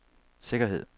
sikkerhed